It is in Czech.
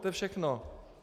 To je všechno.